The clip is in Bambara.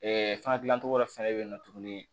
fana gilancogo wɛrɛ fɛnɛ bɛ yen nɔ tuguni